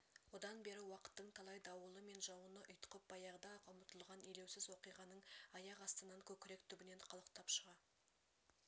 одан бері уақыттың талай дауылы мен жауыны ұйтқып баяғыда-ақ ұмытылған елеусіз оқиғаның аяқ астынан көкірек түбінен қалықтап шыға